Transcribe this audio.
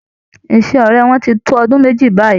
Ìṣe ọrẹ wọn tí n tó ọdún méjì báyìí.